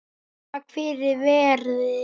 Takk fyrir verið